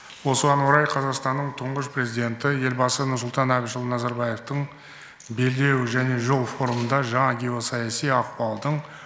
осыған орай қазақстанның тұңғыш президенті елбасы нұрсұлтан әбішұлы назарбаевтың белдеу және жол форумында жаңа геосаяси ахуалдың